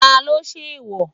Talo ṣe eèwò?